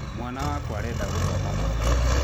Mwana wakwa arenda gũthoma mabuku